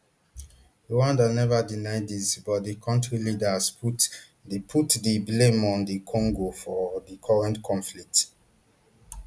rwanda never deny dis but di kontri leaders put di put di blame on dr congo for di current conflict